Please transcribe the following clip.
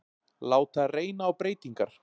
Láta reyna á breytingar